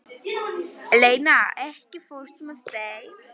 Eleina, ekki fórstu með þeim?